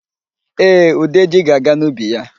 Ee, Udeji ga-aga n'ubi ya.